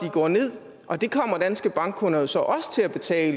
går ned og det kommer danske bankkunder så også til at betale